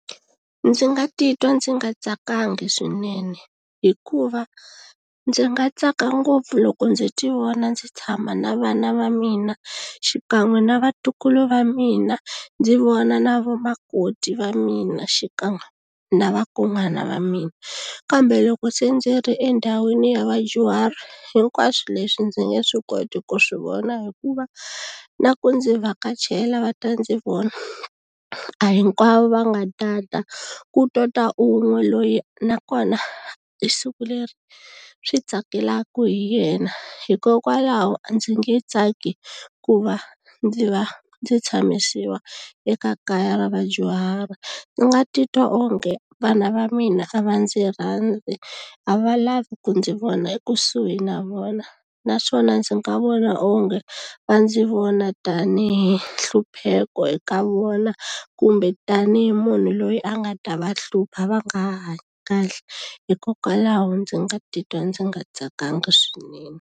Ndzi nga titwa ndzi nga tsakanga swinene hikuva ndzi nga tsaka ngopfu loko ndzi ti vona ndzi tshama na vana va mina xikan'we na vatukulu va mina ndzi vona na vana makoti va mina xikan'we na vakon'wana va mina kambe loko se ndzi ri endhawini ya vadyuhari hinkwaswo leswi ndzi nge swi koti ku swi vona hikuva na ku ndzi vhakachela va ta ndzi vona a hinkwavo va nga ta ta ku to ta un'we loyi nakona i siku leri swi tsakelaka hi yena hikokwalaho a ndzi nge tsaki ku va ndzi va ndzi tshamisiwa eka kaya ra vadyuhari ndzi nga titwa onge vana va mina a va ndzi rhandzi a va lavi ku ndzi vona ekusuhi na vona naswona ndzi nga vona onge va ndzi vona tanihi nhlupheko eka vona kumbe tanihi munhu loyi a nga ta va hlupha va nga ha hanyi kahle hikokwalaho ndzi nga titwa ndzi nga tsakanga swinene.